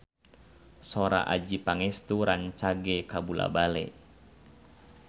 Sora Adjie Pangestu rancage kabula-bale